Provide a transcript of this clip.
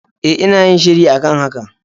E, ina yin shiri a kan haka.